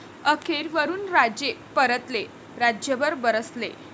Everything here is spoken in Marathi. अखेर वरुणराजे परतले, राज्यभर बरसले